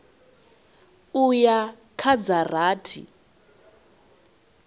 u ya kha dza rathi